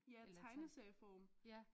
Ja tegneserieform